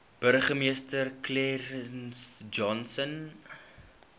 burgemeester clarence johnson